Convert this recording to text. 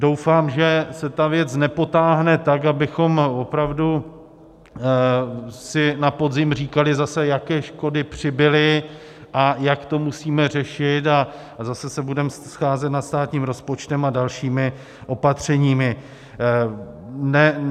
Doufám, že se ta věc nepotáhne tak, abychom opravdu si na podzim říkali zase, jaké škody přibyly a jak to musíme řešit, a zase se budeme scházet nad státním rozpočtem a dalšími opatřeními.